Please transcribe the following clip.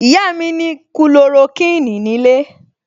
Ìyá mi ní Kulorokíìní nílé